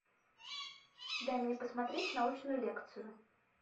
дай мне посмотреть научную лекцию